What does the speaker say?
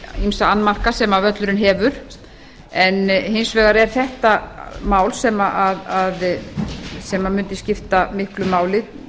ýmsa annmarka sem völlurinn hefur en hins vegar er þetta mál sem mundi skipta miklu máli